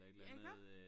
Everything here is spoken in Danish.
Ja iggå?